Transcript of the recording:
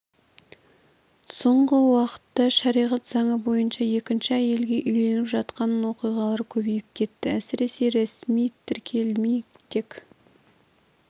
соңғы уақытта шариғат заңы бойынша екінші әйелге үйленіп жатқан оқиғалар көбейіп кетті әсіресе ресми тіркелмей тек